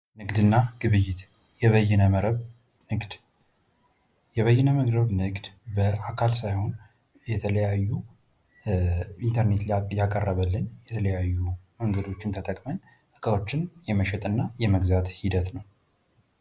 ንግድ እና ግብይት የበይነ መረብ ንግድ የበይነ መረብ ንግድ በአካል ሳይሆን ኢንተርኔት ላይ ያቀረበልን የተለያዩ እቃዎችን የመግዛት ሂደት ነው።